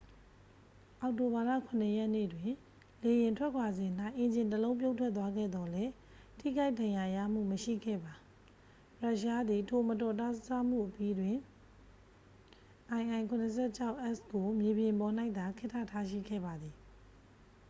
အောက်တိုဘာလ 7 ရက်နေ့တွင် လေယာဉ်ထွက်ခွာစဉ်၌ အင်ဂျင်တစ်လုံး ပြုတ်ထွက်သွားခဲ့သော်လည်း ထိခိုက်ဒဏ်ရာရမှုမရှိခဲ့ပါ ရုရှားသည် ထိုမတော်တဆမှုအပြီးတွင် il-76s ကို မြေပြင်ပေါ်၌သာ ခေတ္တထားရှိခဲ့ပါသည်